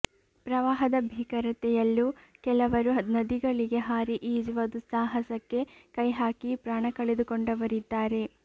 ಪ್ರವಾಹದ ಭೀಕರತೆಯಲ್ಲೂ ಕೆಲವರು ನದಿಗಳಿಗೆ ಹಾರಿ ಈಜುವ ದುಸ್ಸಾಹಸಕ್ಕೆ ಕೈಹಾಕಿ ಪ್ರಾಣ ಕಳೆದುಕೊಂಡವರಿದ್ದಾರೆ